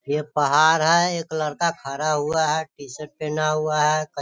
ये पहाड़ है। एक लड़का खड़ा हुआ है। टी-शर्ट पहना हुआ है। क --